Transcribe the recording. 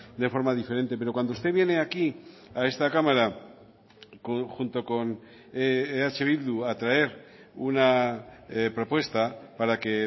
de forma diferente pero cuando usted viene aquí a esta cámara junto con eh bildu a traer una propuesta para que